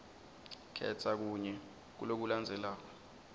khetsa kunye kulokulandzelako